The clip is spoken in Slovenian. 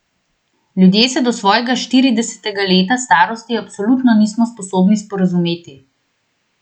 Ljudje se do svojega štiridesetega leta starosti absolutno nismo sposobni sporazumeti.